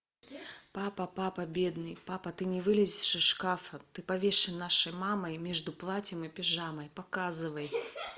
папа папа бедный папа ты не вылезешь из шкафа ты повешен нашей мамой между платьем и пижамой показывай